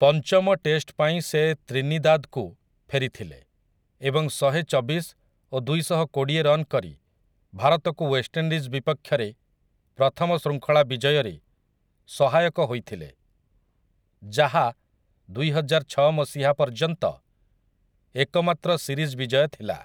ପଞ୍ଚମ ଟେଷ୍ଟପାଇଁ ସେ ତ୍ରିନିଦାଦ୍‌କୁ ଫେରିଥିଲେ ଏବଂ ଶହେଚବିଶ ଓ ଦୁଇଶହକୋଡ଼ିଏ ରନ୍ କରି ଭାରତକୁ ୱେଷ୍ଟଇଣ୍ଡିଜ୍ ବିପକ୍ଷରେ ପ୍ରଥମ ଶୃଙ୍ଖଳା ବିଜୟରେ ସହାୟକ ହୋଇଥିଲେ, ଯାହା ଦୁଇହଜାରଛଅ ମସିହା ପର୍ଯ୍ୟନ୍ତ ଏକମାତ୍ର ସିରିଜ୍ ବିଜୟ ଥିଲା ।